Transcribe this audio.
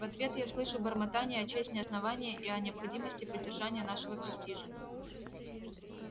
в ответ я слышу бормотание о чести основания и о необходимости поддержания нашего престижа